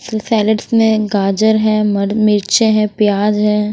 Salads में गाजर है मिर्चे हैं प्याज है।